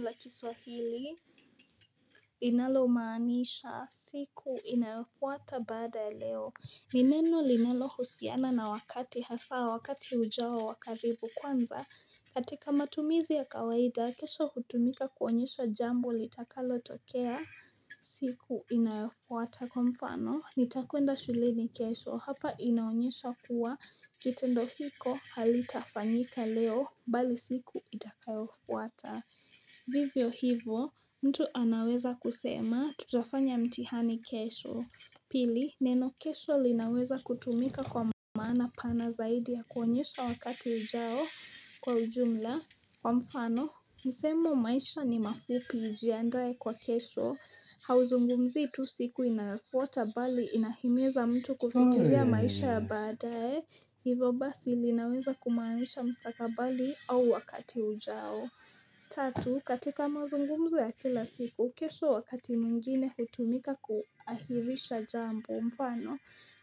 La kiswahili inalomaanisha siku inayofuata baada ya leo ni neno linalohusiana na wakati hasaa wakati ujao wa karibu kwanza katika matumizi ya kawaida kesho hutumika kuonyesha jambo litakalotokea siku inayofuata kwa mfano nitakwenda shuleni kesho hapa inayofuata Kwa kitendo hiko halitafanyika leo bali siku itakayofuata Vivyo hivo mtu anaweza kusema tujafanya mtihani kesho Pili neno kesho linaweza kutumika kwa maana pana zaidi ya kuonyesha wakati ujao kwa ujumla Kwa mfano msemo maisha ni mafupi ijiandae kwa kesho Hauzungumzii tu siku inayofuata bali inahimiza mtu kufikiria maisha ya baadaye Hivo basi linaweza kumaanisha mstakabali au wakati ujao Tatu, katika mazungumzo ya kila siku, kesho wakati mwingine hutumika kuahirisha jambo. Mfano,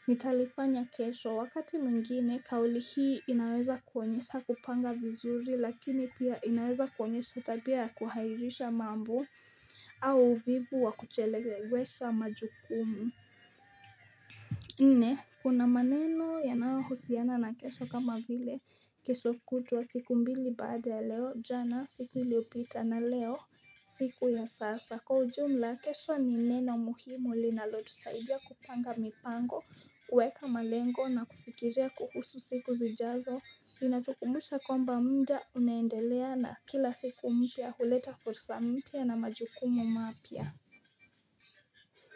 nitalifanya kesho wakati mwengine, kauli hii inaweza kuonyesha kupanga vizuri lakini pia inaweza kuonyesha tabia ya kuhairisha mambo au uvivu wa kuchelewesha majukumu. Nne kuna maneno yanayohusiana na kesho kama vile kesho kutwa siku mbili baada ya leo jana siku iliyopita na leo siku ya sasa Kwa ujumla kesho ni neno muhimu linalotusaidia kupanga mipango huweka malengo na kufikiria kuhusu siku zijazo Inatukumbusha kwamba mda unaendelea na kila siku mpya huleta fursa mpya na majukumu mapya.